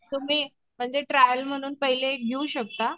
तुम्ही ट्रायल म्हणून पहिले घेऊ शकता.